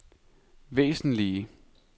væsentlige